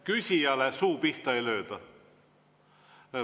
Küsijale suu pihta ei lööda.